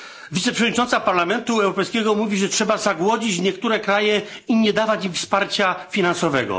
Wiceprzewodnicząca Parlamentu Europejskiego mówi, że trzeba zagłodzić niektóre kraje i nie dawać im wsparcia finansowego.